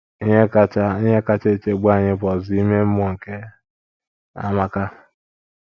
Ihe kacha Ihe kacha echegbu anyị bụ ọzụzụ ime mmụọ nke Amaka.